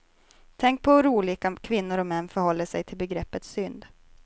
Tänk på hur olika kvinnor och män förhåller sig till begreppet synd.